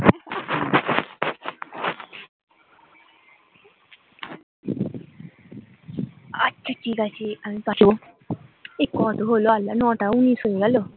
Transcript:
আচ্ছা ঠিক আছে আমি পাঠাবো এ কত হল আল্লাহ নয়টা উনিশ হয়ে গেল